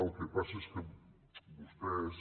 el que passa és que vostès